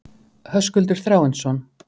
Höskuldur Þráinsson.